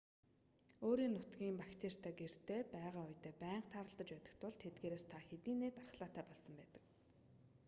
өөрийн нутгийн бактеритай гэртээ байгаа үедээ байнга тааралдаж байдаг тул тэдгээрээс та хэдийнээ дархлаатай болсон байдаг